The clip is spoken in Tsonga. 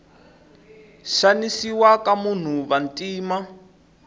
xanisiwa ka vanhu vantima